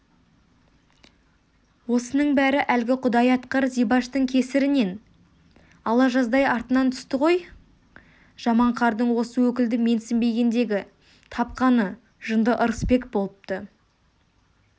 осының бәрі әлгі құдай атқыр зибаштың кесірінен ала жаздай артынан түсті ғой жаман қардың осы өкілді менсінбегендегі тапқаны жынды ырысбек болыпты